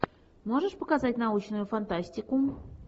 можешь показать научную фантастику